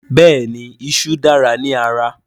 Bẹ́ẹ̀ni iṣú dára ní ara